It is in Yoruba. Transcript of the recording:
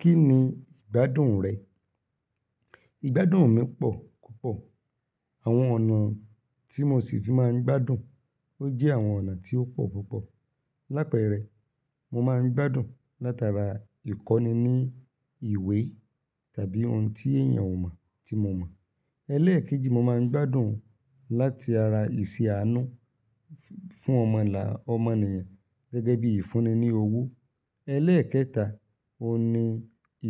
Kí ni ìgbádùn rẹ̀? Ìgbádùn mi pọ̀ púpọ̀. Àwọn ọ̀nà tí mo ṣì fi máa ń gbádùn, ó jẹ́ àwọn ọ̀nà tí ó pọ̀ púpọ̀. Lápẹ́rẹ, mo máa ń gbádùn látara ìkọ́ni ní ìwé tàbí ohun tí èèyàn ò mọ̀ tí mo mọ̀. Elẹ́ẹ̀kejì, mo máa ń gbádùn láti ara ìṣe àánú fún ọmọlà, ọmọ ènìyàn gẹ́gẹ́ bíi ìfúnni ní owó. Elẹ́ẹ̀kẹta, óun ní